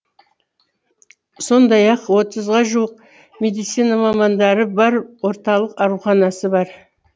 сондай ақ отызға жуық медицина мамандары бар орталық ауруханасы бар